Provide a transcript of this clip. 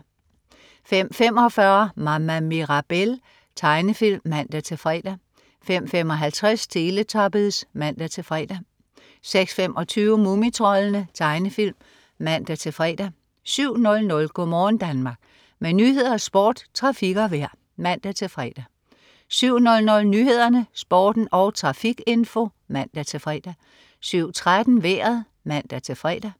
05.45 Mama Mirabelle. Tegnefilm (man-fre) 05.55 Teletubbies (man-fre) 06.25 Mumitroldene. Tegnefilm (man-fre) 07.00 Go' morgen Danmark. Med nyheder, sport, trafik og vejr (man-fre) 07.00 Nyhederne, Sporten og trafikinfo (man-fre) 07.13 Vejret (man-fre)